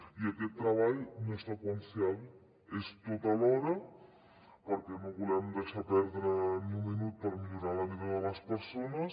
i aquest treball no és seqüencial és tot alhora perquè no volem deixar perdre ni un minut per millorar la vida de les persones